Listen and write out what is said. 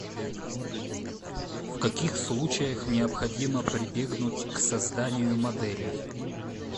в каких случаях необходимо прибегнуть к созданию моделей